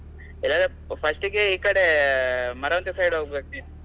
ಇಲ್ಲಾಂದ್ರೆ first ಗೆ ಈಕಡೆ ಮರವಂತೆ side ಹೋಗ್ಬೇಕು.